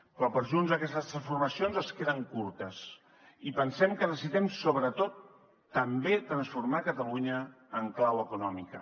però per junts aquestes transformacions es queden curtes i pensem que necessitem sobretot també transformar catalunya en clau econòmica